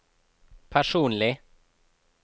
personlig